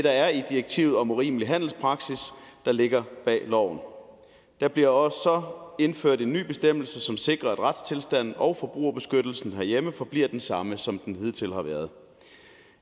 er i direktivet om urimelig handelspraksis der ligger bag loven der bliver også indført en ny bestemmelse som sikrer at retstilstanden og forbrugerbeskyttelsen herhjemme forbliver den samme som den hidtil har været